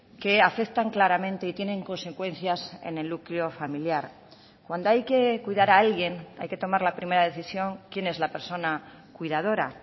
que afectan claramente y tienen consecuencias en el núcleo familiar cuando hay que cuidar a alguien hay que tomar la primera decisión quién es la persona cuidadora